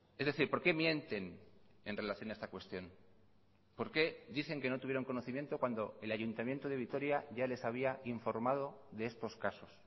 es decir por qué mienten en relación a esta cuestión por qué dicen que no tuvieron conocimiento cuando el ayuntamiento de vitoria ya les había informado de estos casos